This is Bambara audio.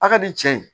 A ka di cɛ ye